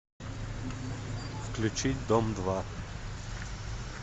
включить дом два